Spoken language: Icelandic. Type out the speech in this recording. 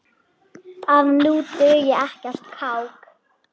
að nú dugi ekkert kák!